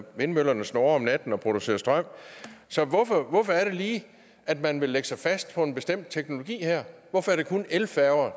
vindmøllerne snurre om natten og producere strøm så hvorfor hvorfor er det lige at man vil lægge sig fast på en bestemt teknologi her hvorfor er det kun elfærger